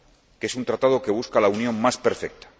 Que es un Tratado que busca la unión más perfecta.